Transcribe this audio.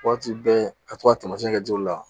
Waati bɛɛ ka to ka tamasiɲɛ kɛ joli la